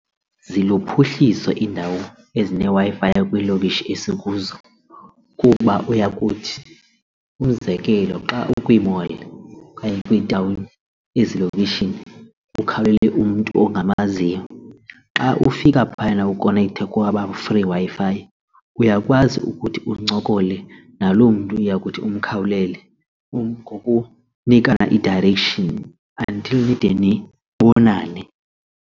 Ziluphuhliso iindawo ezineWi-Fi kwiilokishi esikuzo kuba uyakuthi umzekelo xa ukwi-mall okanye kwitawuni ezilokishini ukhawulele umntu ongamaziyo xa ufika phayana ukonektha kwaba free Wi-Fi uyakwazi ukuthi uncokole nalo mntu iyakuthi umkhawulele ngokunika i-direction until nide nibonane.